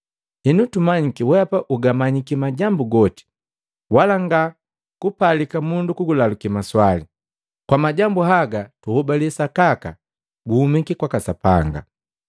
Henu tumanyiki wehapa ugamanyiki majambu goti, wala nga kupalika mundu kulaluki maswali. Kwa majambu haga tuhobale sakaka guhumiki kwaka Sapanga.”